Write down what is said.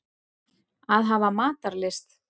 Að hafa matarlyst.